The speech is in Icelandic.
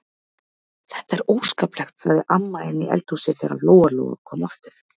Þetta er óskaplegt, sagði amma inni í eldhúsi þegar Lóa-Lóa kom aftur.